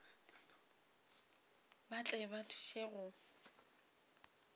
ba tle ba thuše go